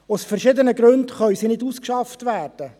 Aus verschiedenen Gründen können sie nicht ausgeschafft werden.